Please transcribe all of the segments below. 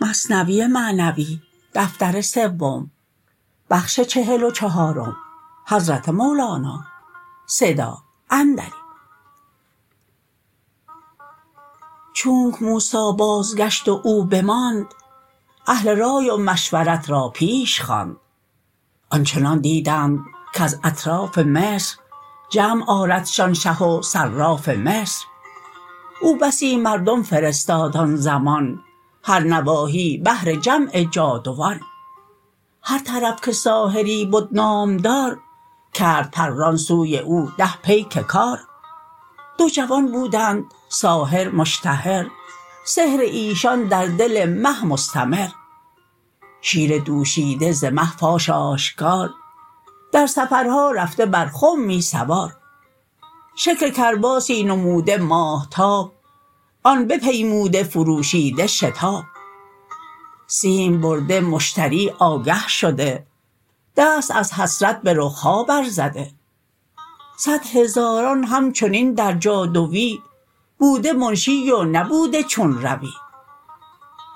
چونک موسی بازگشت و او بماند اهل رای و مشورت را پیش خواند آنچنان دیدند کز اطراف مصر جمع آردشان شه و صراف مصر او بسی مردم فرستاد آن زمان هر نواحی بهر جمع جادوان هر طرف که ساحری بد نامدار کرد پران سوی او ده پیک کار دو جوان بودند ساحر مشتهر سحر ایشان در دل مه مستمر شیر دوشیده ز مه فاش آشکار در سفرها رفته بر خمی سوار شکل کرباسی نموده ماهتاب آن بپیموده فروشیده شتاب سیم برده مشتری آگه شده دست از حسرت به رخها بر زده صد هزاران همچنین در جادوی بوده منشی و نبوده چون روی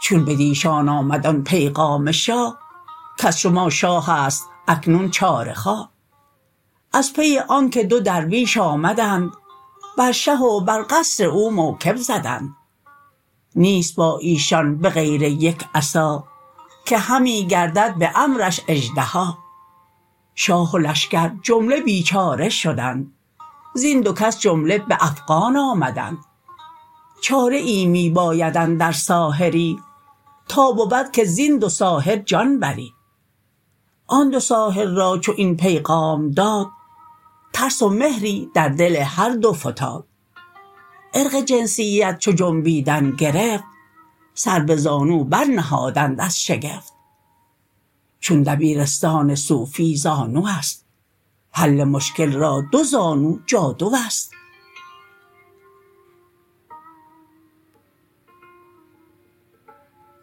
چون بدیشان آمد آن پیغام شاه کز شما شاهست اکنون چاره خواه از پی آنک دو درویش آمدند بر شه و بر قصر او موکب زدند نیست با ایشان به غیر یک عصا که همی گردد به امرش اژدها شاه و لشکر جمله بیچاره شدند زین دو کس جمله به افغان آمدند چاره ای می باید اندر ساحری تا بود که زین دو ساحر جان بری آن دو ساحر را چو این پیغام داد ترس و مهری در دل هر دو فتاد عرق جنسیت چو جنبیدن گرفت سر به زانو بر نهادند از شگفت چون دبیرستان صوفی زانوست حل مشکل را دو زانو جادوست